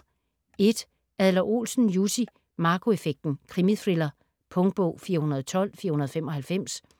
Adler-Olsen, Jussi: Marco effekten: krimithriller Punktbog 412495